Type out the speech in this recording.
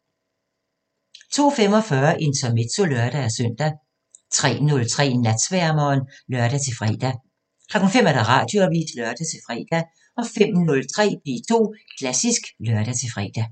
02:45: Intermezzo (lør-søn) 03:03: Natsværmeren (lør-fre) 05:00: Radioavisen (lør-fre) 05:03: P2 Klassisk (lør-fre)